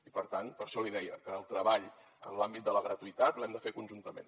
i per tant per això li deia que el treball en l’àmbit de la gratuïtat l’hem de fer conjuntament